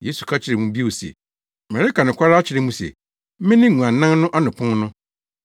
Yesu ka kyerɛɛ wɔn bio se, “Mereka nokware akyerɛ mo se mene nguannan no ano pon no.